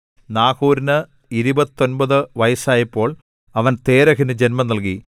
നാഹോരിന് ഇരുപത്തൊമ്പതു വയസ്സായപ്പോൾ അവൻ തേരഹിനു ജന്മം നൽകി